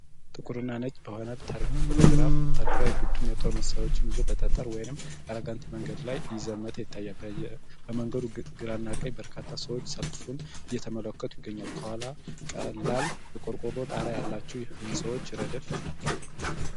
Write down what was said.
ጥቁርና ነጭ በሆነ ታሪካዊ ፎቶግራፍ ላይ፣ ወታደራዊ ቡድን የጦር መሣሪያዎችን ይዞ በጠጠር ወይም ጋራጋንቲ መንገድ ላይ እየዘመተ ይታያል። በመንገዱ ግራና ቀኝ በርካታ ሰዎች ሰልፉን እየተመለከቱ ይገኛሉ። ከኋላ ቀላል የቆርቆሮ ጣሪያ ያላቸው የህንጻዎች ረድፍ አለ።